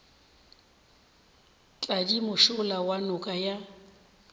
tladi mošola wa noka ya